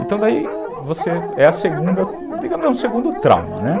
Então, daí você é a segunda, digamos, é um segundo trauma, né?